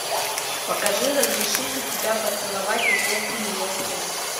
покажи разрешите тебя поцеловать отец невесты